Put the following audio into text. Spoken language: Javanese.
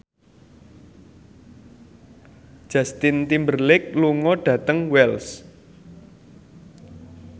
Justin Timberlake lunga dhateng Wells